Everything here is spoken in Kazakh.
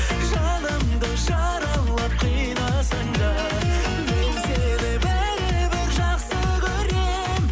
жанымды жаралап қинасаң да мен сені бәрібір жақсы көрем